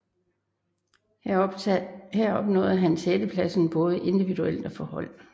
Her opnåede han sjettepladsen både individuelt og for hold